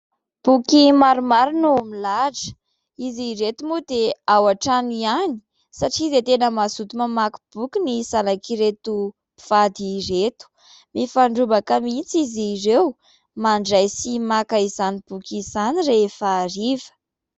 Boky maromaro no milahatra. Izy ireto moa dia ao an-trano ihany satria dia tena mazoto mamaky boky ny zanak'ireto mpivady ireto. Mifandrombaka mihitsy izy ireo mandray sy maka izany boky izany rehefa hariva.